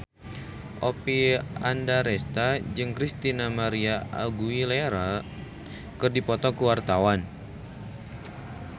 Oppie Andaresta jeung Christina María Aguilera keur dipoto ku wartawan